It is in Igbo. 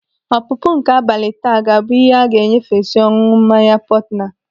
Ọpụpụ nke abalị taa ga-abụ ihe a ga-enyefesi ọṅụṅụ mmanya portner.